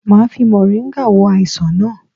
Máa fi moringa wo àìsàn naa